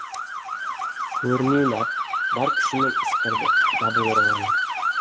кернейін ап бар күшімен ысқырды дабыл ұрғаны